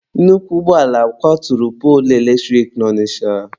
Nnukwu ụgbọala kwaturu poolu eletrik na Ọnịcha.